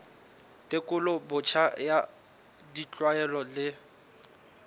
tekolo botjha ya ditlwaelo le